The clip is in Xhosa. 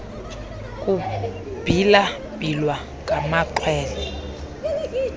kubhila bhilwa ngamaxhwele